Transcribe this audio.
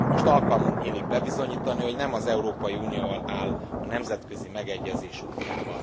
Most alkalmunk nyílik bebizonyítani, hogy nem az Európai Unió áll a nemzetközi megegyezés útjában.